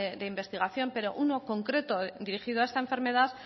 de investigación pero uno concreto dirigido a esta enfermedad